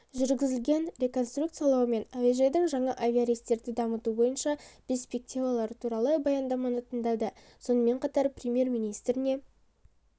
жүргізілген реконструкциялау мен әуежайдың жаңа авиарейстерді дамыту бойынша перспективалары туралы баяндаманы тыңдады сонымен қатар премьер-министріне